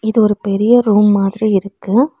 இது ஒரு பெரிய ரூம் மாதிரி இருக்கு.